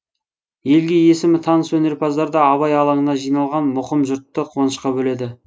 елге есімі таныс өнерпаздар да абай алаңына жиналған мұқым жұртты қуанышқа бөледі